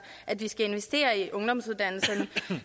at vi skal investere i ungdomsuddannelserne